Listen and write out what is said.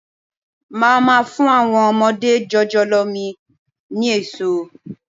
Máa má fún àwọn ọmọdé jòjòló mi ni èso.